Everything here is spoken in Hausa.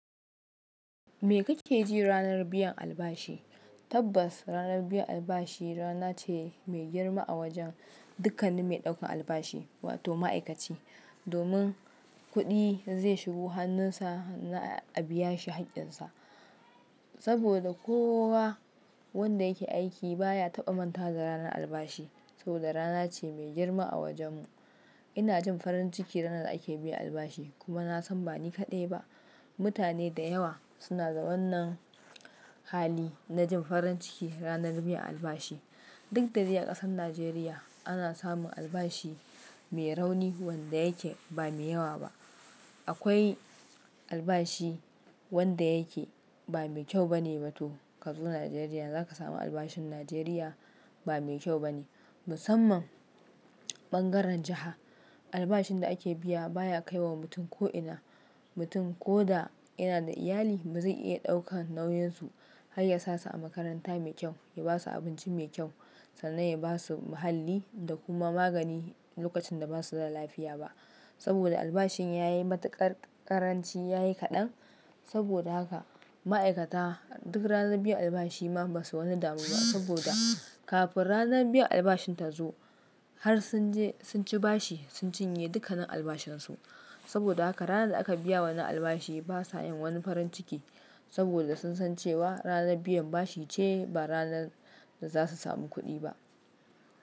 Me kake ji ranar biyan albashi? Tabbas, ranar biyan albashi rana ce mai girma a wajen dukkanin mai ɗaukan albashi wato ma'aikaci. Domin kuɗi zai shigo hannunsa na a biya shi haƙƙinsa. Saboda kowa wanda yake aiki baya taɓa manta da ranar albashi. Saboda rana ce mai girma a wajen mu. Ina jin farin ciki ranar da ake biyan albashi kuma na san ba ni kaɗai ba. Mutane da yawa suna da wannan hali na jin farin ciki ranar biyan albashi. Duk da jiya ƙasar Nijeriya ana samun albashi mai rauni wanda yake ba mai yawa ba. Akwai albashi wanda yake ba mai kyau bane ba to kazo Nijeriya za ka samu albashin Nijeriya ba mai kyau bane. Musamman ɓangaren jiha, albashin da ake biya baya kai wa mutum ko ina. Mutum ko da yana da iyali ba zai iya ɗaukan nauyinsu har yasa su a makaranta mai kyau, ya basu abinci mai kyau sannan ya basu muhalli da kuma magani lokacin da ba su da lafiya ba. Saboda albashin ya yi matuƙar ƙaranci, ya yi kaɗan. Saboda haka ma'aikata duk ranar biyan albashi ma ba su wani damuwa saboda kafin ranar biyan albashin ta zo har sun je sun ci bashi sun cinye dukkanin albashin su. Saboda haka ranar da aka biya wannan albashi ba sa yin wani farin ciki saboda sun san cewa ranar biyan bashi ce ba ranar da za su samu kuɗi ba.